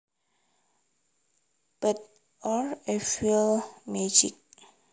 Bad or evil magic